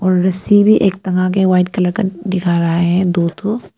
और रस्सी भी एक टंगा के व्हाइट कलर दिखा रहा है दो ठो--